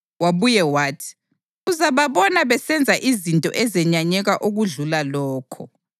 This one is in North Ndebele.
Wabuye wathi, “Uzababona besenza izinto ezenyanyeka okudlula lokho.”